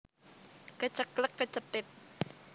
Keceklek kecethit